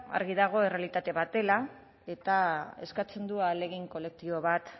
argi dago errealitate bat dela eta eskatzen du ahalegin kolektibo bat